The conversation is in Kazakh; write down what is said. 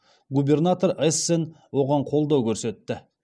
губернатор эсн оған қолдау көрсетті